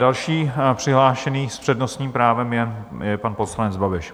Další přihlášení s přednostním právem je pan poslanec Babiš.